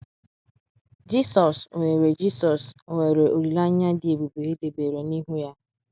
Jisọs nwere Jisọs nwere olileanya dị ebube e debere n’ihu ya